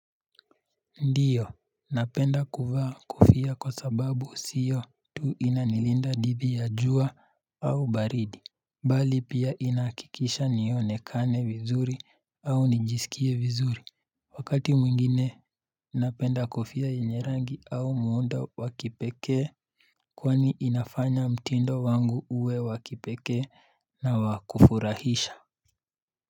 Ndiyo, napenda kuvaa kofia kwa sababu siyo tu inanilinda didhi ya jua au baridi Bali pia inahakikisha nionekane vizuri au nijisikie vizuri Wakati mwingine napenda kofia yenye rangi au muundo wa kipekee Kwani inafanya mtindo wangu uwe wa kipekee na wa kufurahisha.